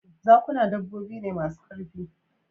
Zakuna dabbobi ne masu ƙarfi